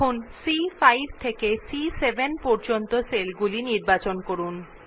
এখন সি5 থেকে সি7 পর্যন্ত সেলগুলিকে নির্বাচন করুন